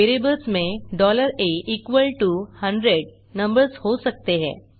variables में a100 numbers हो सकते हैं